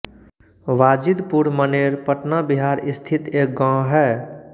वाजिदपुर मनेर पटना बिहार स्थित एक गाँव है